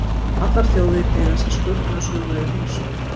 Allar þjóðir eiga sér sköpunarsögu eða heimsmynd.